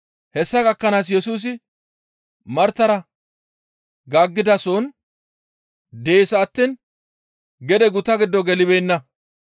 Hessa gakkanaas Yesusi Martara gaaggidasohon dees attiin gede guta giddo gelibeenna